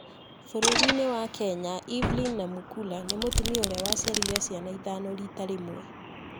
Bũrũri-inĩ wa Kenya, Evelyn Namukhula nĩ mũtumia ũria waciarire ciana ithano rita rĩmwe.